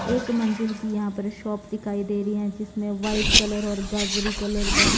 एक मंजिल की यहां पर शॉप दिखाई दे रही है जिसमें व्हाइट कलर और गाजरी कलर का।